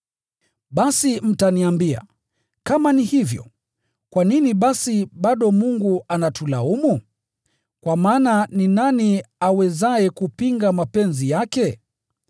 Basi mtaniambia, “Kama ni hivyo, kwa nini basi bado Mungu anatulaumu? Kwa maana ni nani awezaye kupinga mapenzi yake?”